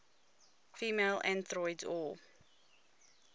female androids or